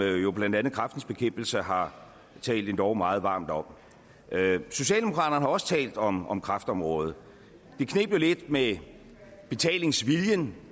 jo blandt andet kræftens bekæmpelse har talt endog meget varmt om socialdemokraterne har også talt om om kræftområdet det kneb jo lidt med betalingsviljen